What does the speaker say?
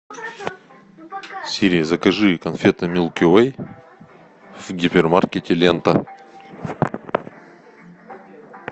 сири закажи конфеты милки вей в гипермаркете лента